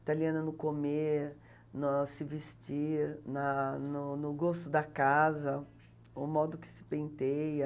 Italiana no comer, no se vestir, na no no gosto da casa, o modo que se penteia...